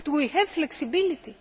but we have flexibility